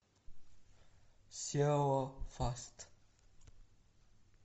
сео фаст